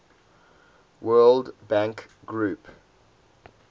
world bank group